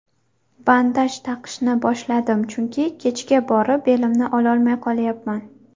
Bandaj taqishni boshladim, chunki kechga borib belimni ololmay qolyapman.